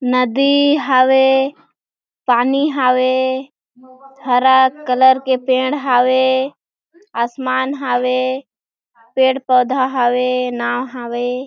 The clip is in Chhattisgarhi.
नदी हावे पानी हावे हरा कलर के पेड़ हावे आसमान हावे पेड़ -पौधा हावे नाव हावे।